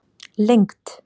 lengd